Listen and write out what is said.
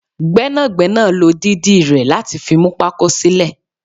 Gbẹ́nàgbẹ́nà ló dídì rẹ láti fi mú pako sílè